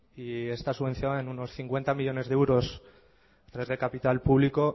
y está subvencionada en unos cincuenta millónes de euros tres de capital público